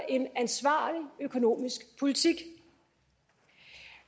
en ansvarlig økonomisk politik